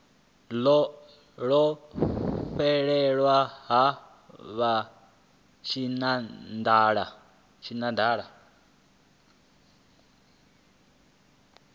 ḽo fhelela ha vha tshinanḓala